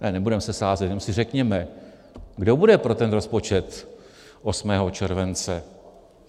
Ne, nebudeme se sázet, jen si řekněme, kdo bude pro ten rozpočet 8. července?